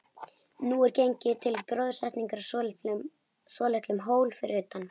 Nú er gengið til gróðursetningar á svolitlum hól fyrir utan